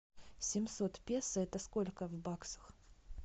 семьсот песо это сколько в баксах